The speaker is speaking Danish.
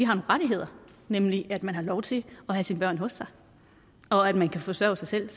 rettigheder nemlig at man har lov til at have sine børn hos sig og at man kan forsørge sig selv